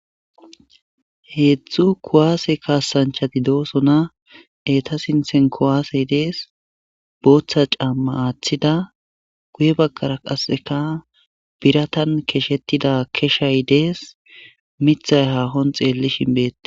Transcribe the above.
heedzdzu kuwaase kaasanchati doosona eta sinthen kowaasey dees booththa camma aaththida guye baggara qasseka biratan keshettida keshay dees mithay haahon xeelli shinbeette